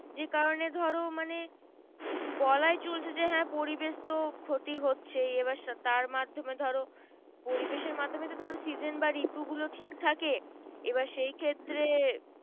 যে কারণে ধরো মানে বলাই চলছে যে, হ্যাঁ পরিবেশ তো ক্ষতি হচ্ছেই। এবার তার মাধ্যমে ধরো পরিবেশের মাধ্যমে তো ধরো season বা ঋতু গুলো ঠিক থাকে। এবার সেই ক্ষেত্রে